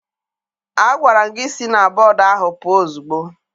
Agwara m gị si na bọdu ahụ pụọ ozugbo!